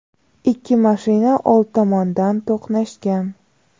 ikki mashina old tomondan to‘qnashgan.